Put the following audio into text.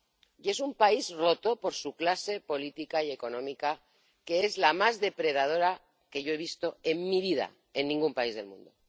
Y es un país roto por su clase política y económica, que es la más depredadora que yo he visto en mi vida en ningún país del mundo.